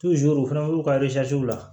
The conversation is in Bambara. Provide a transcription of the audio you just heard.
u fana b'u ka la